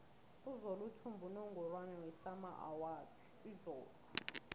uzola uthumbe unungorwana wesama izolo